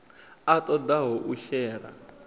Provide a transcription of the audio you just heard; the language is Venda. a ṱo ḓaho u shela